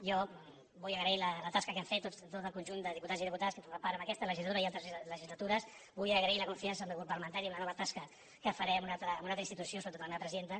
jo vull agrair la tasca que hem fet tot el conjunt de diputats i diputades que n’hem format part en aquesta legislatura i altres legislatures vull agrair la confiança del meu grup parlamentari en la nova tasca que faré en una altra institució sobretot a la meva presidenta